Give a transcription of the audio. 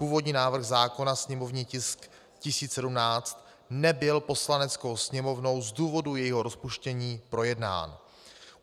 Původní návrh zákona, sněmovní tisk 1017, nebyl Poslaneckou sněmovnou z důvodu jejího rozpuštění projednán.